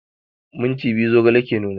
Minti biyu zogale ke nuna